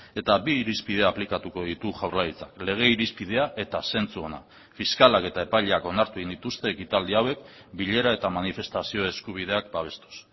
eta bi irizpide aplikatuko ditu jaurlaritzak lege irizpidea eta zentzu ona fiskalak eta epaileak onartu egin dituzte ekitaldi hauek bilera eta manifestazio eskubideak babestuz